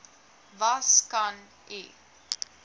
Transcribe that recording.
was kan u